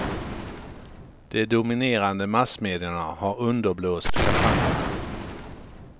De dominerande massmedierna har underblåst kampanjerna.